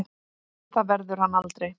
Það verður hann aldrei.